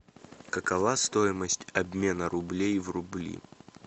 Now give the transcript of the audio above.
какова стоимость обмена рублей в рубли